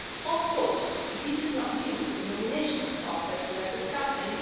Of course this is not due to the nomination process we are discussing